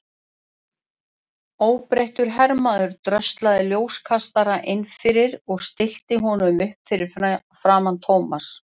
Óbreyttur hermaður dröslaði ljóskastara inn fyrir og stillti honum upp fyrir framan Thomas.